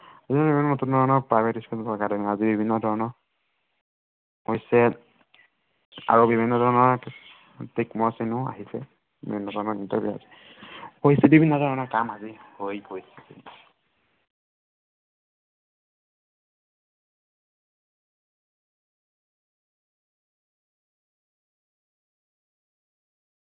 বিভিন্ন ধৰনৰ পৰিচয় আৰু বিভিন্ন ধৰনৰ প্ৰতীক চিহ্নও আহিছে